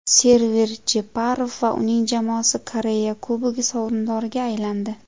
Server Jeparov va uning jamoasi Koreya Kubogi sovrindoriga aylandi.